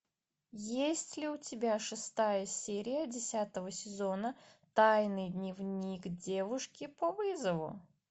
есть ли у тебя шестая серия десятого сезона тайный дневник девушки по вызову